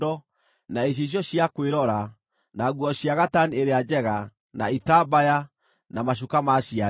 na icicio cia kwĩrora, na nguo cia gatani ĩrĩa njega, na itambaya, na macuka ma ciande.